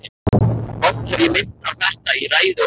Oft hef ég minnt á þetta í ræðu og riti.